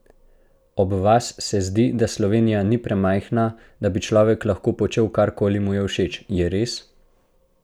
Ob vas se zdi, da Slovenija ni premajhna, da bi človek lahko počel, karkoli mu je všeč, je res?